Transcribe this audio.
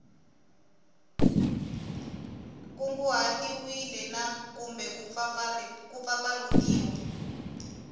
kunguhatiwile na kumbe ku mpfampfarhutiwa